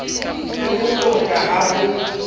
le ho tota ha ho